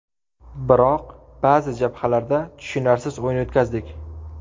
Biroq ba’zi jabhalarda tushunarsiz o‘yin o‘tkazdik.